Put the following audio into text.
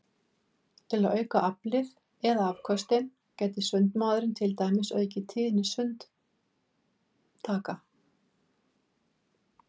Til að auka aflið eða afköstin gæti sundmaðurinn til dæmis aukið tíðni sundtaka.